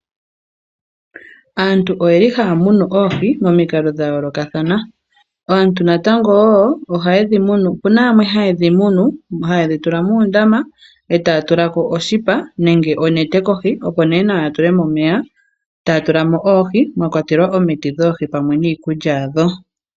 Aantu oye li haa munu oohi momikalo dha yoolokathana. Aantu natango woo ohaye dhi munu, ope na yamwe haye dhi munu, haye dhi tula muundama e taa tula ko onete kohi opo nee nawa ya tule mo omeya, taa tula mo oohi mwa kwatelwa omiti dhoohi pamwe niikulya yadho.